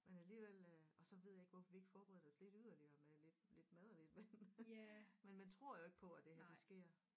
Men alligevel øh og så ved jeg ikke hvorfor vi ikke forberedte os lidt yderligere med lidt lidt mad og lidt vand men man tror jo ikke på at det her det sker